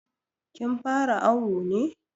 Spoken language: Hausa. Kin fara awu ne.